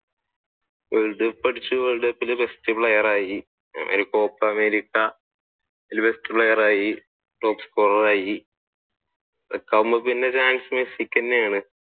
world cup അടിച്ചു world cup ലെ best player ആയി copa america അതിൽ best player ആയി top scorer ആയി മെസ്സിക്ക് തന്നെയാണ്